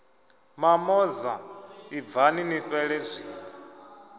mamoza ibvani ni fhele zwino